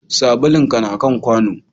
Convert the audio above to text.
Sabulun ka na kan kwano